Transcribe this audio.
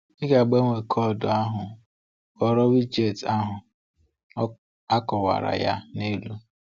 Ị ga-agbanwe koodu ahụ kpọrọ widget ahụ; a kọwara ya n’elu.